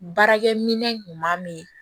Baarakɛminɛn kuma min